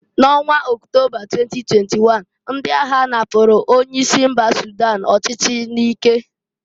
N'ọnwa Octoba 2021, ndị agha napuru onye isi mba Sudan ọchịchị n'ike.